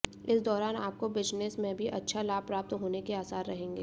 इस दौरान आपको बिजनेस में भी अच्छा लाभ प्राप्त होने के आसार रहेंगे